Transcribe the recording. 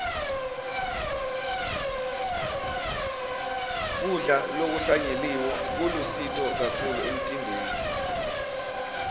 kudla lokuhlanyeliwe kulusito kakhulu emtimbeni